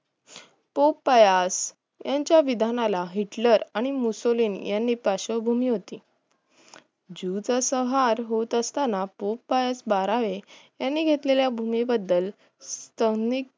पोपायाज यांच्या विधानाला हिटलर आणि मोसलीन यांनी पश्यभूमीवरती जुचा संव्हार होत असताना पोपयाज बारावे यांनी घेतलेल्या भूमी बद्धल सविद